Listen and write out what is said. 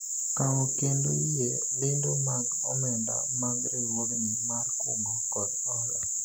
kawo kendo yie lendo mag omenda mag riwruogni mar kungo kod hola